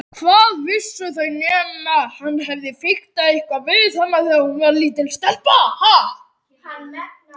Hvað vissu þau nema hann hefði fiktað eitthvað við hana þegar hún var lítil stelpa.